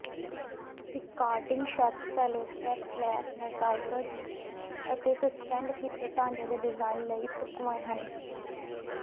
ਰੀਕਾਇੰਟਿੰਗ ਛੱਤ fluorescent lamp niches ਅਤੇ suspend ਕੀਤੇ ਢਾਂਚਿਆਂ ਦੇ ਡਿਜ਼ਾਇਨ ਲਈ ਢੁਕਵਾਂ ਹਨ